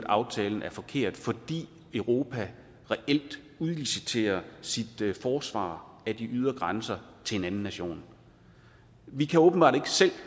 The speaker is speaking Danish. aftalen er forkert fordi europa reelt udliciterer sit forsvar af de ydre grænser til en anden nation vi kan åbenbart ikke selv